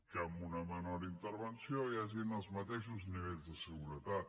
que amb una menor intervenció hi hagi els mateixos nivells de seguretat